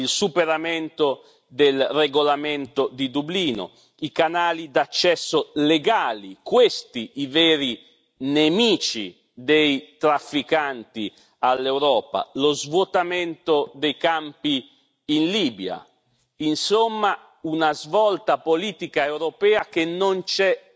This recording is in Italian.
Il superamento del regolamento di Dublino, i canali d'accesso legali questi i veri nemici dei trafficanti all'Europa lo svuotamento dei campi in Libia, insomma una svolta politica europea che non c'è